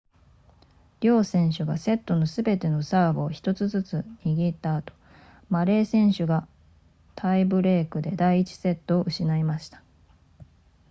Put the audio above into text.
両選手がセットのすべてのサーブを1つずつ握った後マレー選手がタイブレークで第1セットを失いました